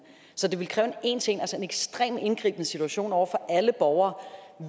så det vil kræve en ekstremt indgribende situation over for alle borgere